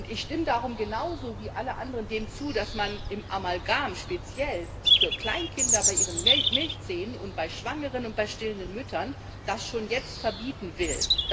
Ich stimme darum genauso wie alle anderen dem zu, dass man Amalgam speziell für Kleinkinder bei ihren Milchzähnen und bei Schwangeren und bei stillenden Müttern schon jetzt verbieten will.